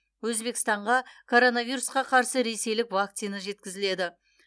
өзбекстанға коронавирусқа қарсы ресейлік вакцина жеткізіледі